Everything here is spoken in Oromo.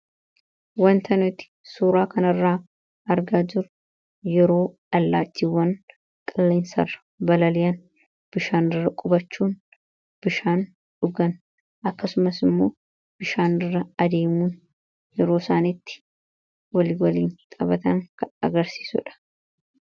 Wanti nuti suuraa kana irraa argaa jirru yeroo allaattiiwwan qilleensa irra balali'an bishaan irra qubachuun bishaan dhugan; akkasumas immoo, bishaan irra adeemuun waliin yeroo isaan taphatan kan agarsiisudha.